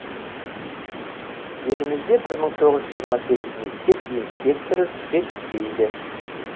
елімізде бір мың тоғыз жүз жиырма сегіз мектеп инспекторы жетіспейді